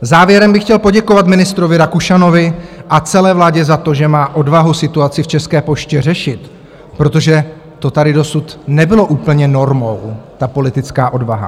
Závěrem bych chtěl poděkovat ministrovi Rakušanovi a celé vládě za to, že má odvahu situaci v České poště řešit, protože to tady dosud nebylo úplně normou, ta politická odvaha.